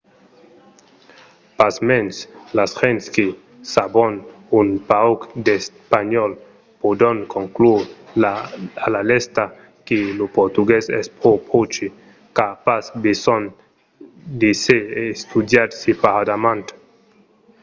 pasmens las gents que sabon un pauc d'espanhòl pòdon conclure a la lèsta que lo portugués es pro pròche qu'a pas besonh d'èsser estudiat separadament